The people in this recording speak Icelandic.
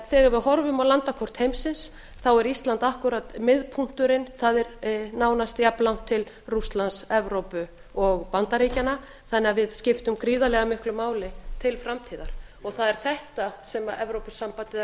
þegar við horfum á landakort heimsins er ísland akkúrat miðpunkturinn það er nánast jafnlangt til rússlands evrópu og bandaríkjanna þannig að við skiptum gríðarlega miklu máli til framtíðar það er þetta sem evrópusambandið er